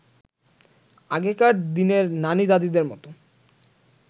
আগেকার দিনের নানি-দাদিদের মতো